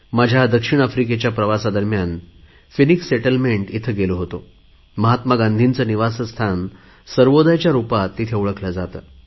माझ्या दक्षिण आफ्रिकेच्या प्रवासा दरम्यान फिनिक्स सेटलमेंट येथे गेलो होतो महात्मा गांधीचे निवासस्थान सर्वोदयच्या रुपात ओळखले जाते